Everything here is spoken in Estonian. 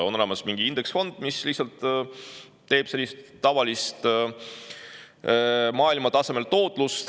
On olemas indeksfondid, millel on lihtsalt selline tavaline maailma tasemel tootlus.